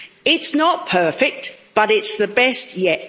It's not perfect, but it's the best yet.